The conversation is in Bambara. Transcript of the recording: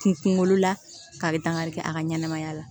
Kunkolo la kari dakari kɛ a ka ɲɛnamaya la